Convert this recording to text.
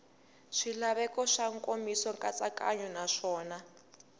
swilaveko swa nkomiso nkatsakanyo naswona